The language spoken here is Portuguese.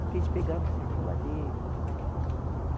Porque eles pegavam de circuladeira.